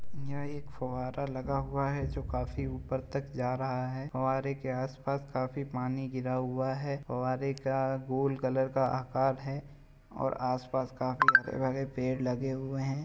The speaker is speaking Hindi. यह एक फव्वारा लगा हुआ है जो काफी ऊपर तक जा रहा है। फव्वारे के आसपास काफी पानी गिरा हुआ है। फव्वारे का गोल कलर का आकार है और आसपास काफी हरे भरे पेड़ लगे हुए हैं।